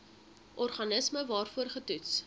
organisme waarvoor getoets